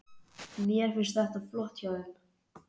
Mér finnst þetta flott hjá þeim.